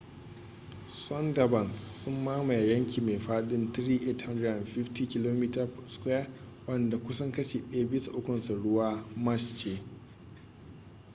sundarbans sun mamaye yanki mai faɗin 3,850 km² wanda kusan kashi ɗaya bisa ukunsa ruwa/ marsh ce